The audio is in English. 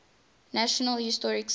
national historic site